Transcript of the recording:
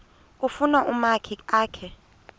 kufuna umakhi akhe